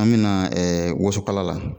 An mina ɛɛ wosokala la